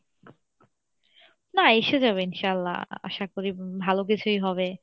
না এসে যাবে ইনশাল্লাহ আশা করি ভালো কিছুই হবে